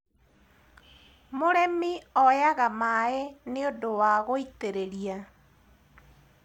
mũrĩmi oyaga maĩ nĩũndũ wa gũitĩrĩria